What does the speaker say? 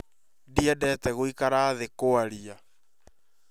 Ndiendete gũikara thĩ kuarĩa